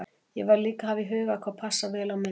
Ég verð líka að hafa í huga hvað passar vel á mynd.